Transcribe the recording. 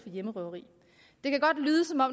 hjemmerøveri